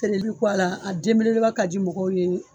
a de belebeleba ka di mɔgɔw ye.